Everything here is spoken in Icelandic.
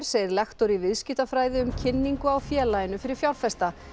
segir lektor í viðskiptafræði um kynningu á félaginu fyrir fjárfesta